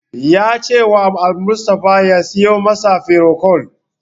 Ya cewa Almustapha ya siyo masa firocol.